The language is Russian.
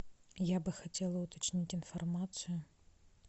я бы хотела уточнить информацию